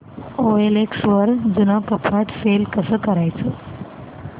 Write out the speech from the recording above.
OLX वर जुनं कपाट सेल कसं करायचं